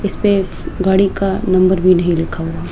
इसपे गाड़ी का नंबर भी नहीं लिखा हुआ--